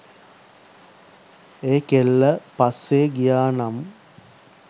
ඒ කෙල්ල පස්සේ ගියා නම්